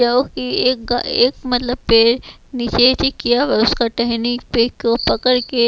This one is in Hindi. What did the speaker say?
क्योंकि एक का एक मतलब पेड़ नीचे से किया हुआ उसका टहनी पे को पकड़ के--